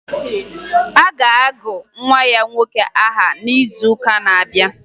A ga-agụ nwa ya nwoke aha n'izuụka na-abịa